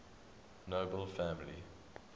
nobel family